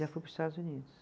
Já fui para os Estados Unidos.